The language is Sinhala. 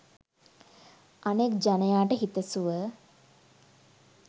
අනෙක් ජනයාට හිතසුව